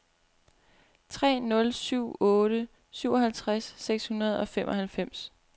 tre nul syv otte syvoghalvtreds seks hundrede og femoghalvfems